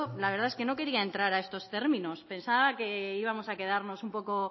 la verdad que yo no quería entrar a estos términos pensaba que íbamos a quedarnos un poco